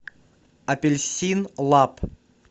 апельсин лаб